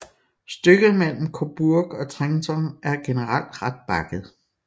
Stykket mellem Cobourg og Trenton er generelt ret bakket